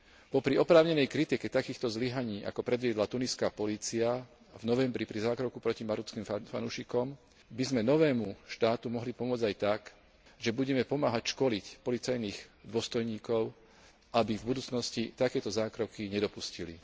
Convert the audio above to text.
Popri oprávnenej kritike takýchto zlyhaní, ako predviedla tuniská polícia v novembri pri zákroku proti marockým fanúšikom, by sme novému štátu mohli pomôcť aj tak, že budeme pomáhať školiť policajných dôstojníkov, aby v budúcnosti takéto zákroky nedopustili.